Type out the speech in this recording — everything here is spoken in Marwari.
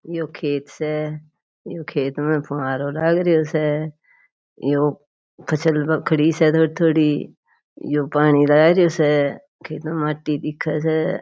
यो खेत स यो खेत में फवारो लागरियो स यो फसल खड़ी स थोड़ी थोड़ी यो पानी लागरियो स खेत में माटी दिखे स।